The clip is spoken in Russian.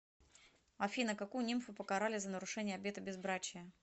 афина какую нимфу покарали за нарушение обета безбрачия